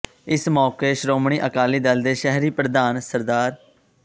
ਇਸ ਮੌਕੇ ਸ਼੍ਰੋਮਣੀ ਅਕਾਲੀ ਦਲ ਦੇ ਸ਼ਹਿਰੀ ਪ੍ਰਧਾਨ ਸ